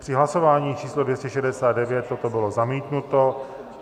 Při hlasování číslo 269 toto bylo zamítnuto.